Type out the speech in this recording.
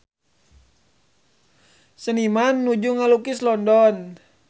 Seniman nuju ngalukis London